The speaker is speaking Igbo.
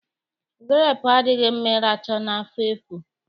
Gurepu adịghị mma ịracha n'afọ efu